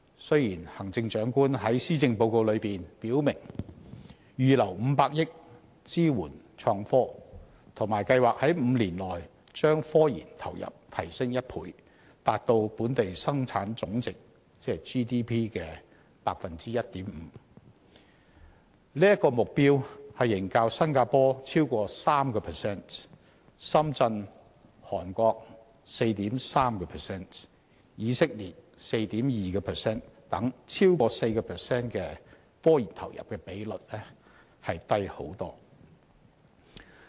雖然行政長官在施政報告中表明預留500億元支援創科，以及計劃在5年內將科研投入提升1倍，達致本地生產總值的 1.5%， 但此目標仍遠低於新加坡的逾 3% 或深圳、韓國、以色列等地的逾 4% 的科研投入比率。